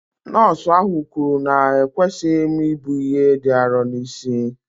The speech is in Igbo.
Nọọsụ ahụ kwuru na ekwesịghị m ibu ihe dị arọ n'isi